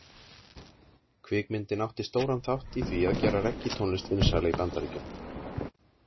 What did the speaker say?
Kvikmyndin átti stóran þátt í því að gera reggítónlist vinsæla í Bandaríkjunum.